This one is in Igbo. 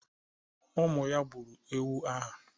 Ụmụ ya gburu ewu ahụ